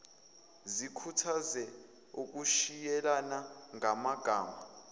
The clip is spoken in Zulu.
zikhuthaze ukushiyelana ngamagama